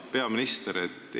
Hea peaminister!